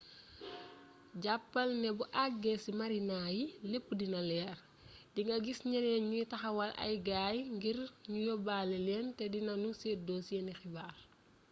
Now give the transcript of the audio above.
jàppal ne boo eggee ci marina yi lepp dina leer di nga gis ñeneen ñuy taxawal ay gay ngir ñu yobale leen te dinanu seddoo seeni xibaar